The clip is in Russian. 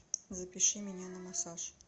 запиши меня на массаж